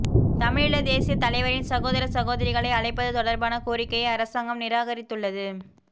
தமிழீழ தேசியத் தலைவரின் சகோதர சகோதரிகளை அழைப்பது தொடர்பான கோரிக்கையை அரசாங்கம் நிராகரித்துள்ளது